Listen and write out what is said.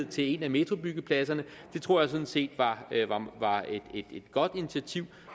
til en af metrobyggepladserne det tror jeg sådan set var et godt initiativ